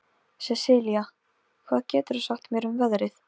Sesilía, hvað geturðu sagt mér um veðrið?